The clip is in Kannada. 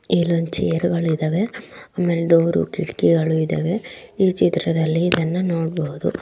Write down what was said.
ಇಲ್ಲಿ ಒಂದು ಚೇರ್‌ಗಳು ಇದ್ದಾವೆ ಆಮೇಲೆ ಡೋರ್ ಕಿಟಕಿಗಳು ‌ಇದ್ದಾವೆ ಈ ಚಿತ್ರದಲ್ಲಿ ಇದನ್ನು ನೋಡಬಹುದು.